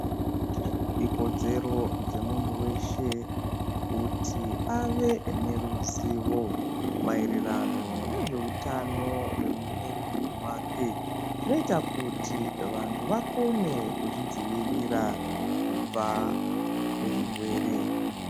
Ikodzero dzemutu veshe kuti ave neruzivo maererano nezveutano hwemumwiri mwake. Zvinoita kuti vantu vakone kuzvidzivirira kubva kuzvirwere.